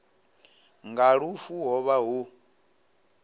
nga lufu ho vha hu